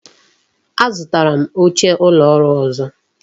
A zụtara m oche ụlọ ọrụ ọzọ